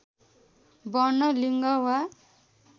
वर्ण लिङ्ग वा